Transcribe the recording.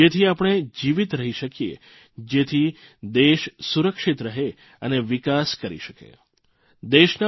જેથી આપણે જીવીત રહી શકીએ જેથી દેશ સુરક્ષિત રહે અને વિકાસ કરી શકે